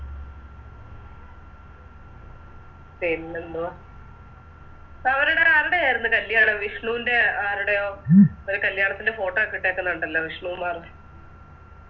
പിന്നെന്തുവാ അവരുടെ ആരുടെയാരുന്നു കല്യാണം വിഷ്ണുൻറെ ആരുടെയോ ഒരു കല്യാണത്തിൻറെയൊക്കെ Photo ഒക്കെ ഇട്ടേക്കുന്നെ കണ്ടല്ലോ വിഷ്ണുകുമാറ്